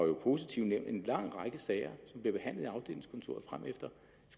jo positivt nævnt en lang række sager som bliver behandlet i afdelingskontoret fremefter